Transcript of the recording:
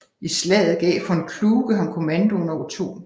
I slaget gav von Kluge ham kommandoen over 2